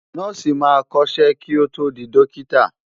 Nọ́ọ̀sì máa kọ́ṣẹ́ kí ó tó di dọ́kítà.